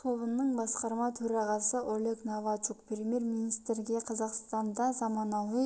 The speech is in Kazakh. тобының басқарма төрағасы олег новачук премьер-министрге қазақстанда заманауи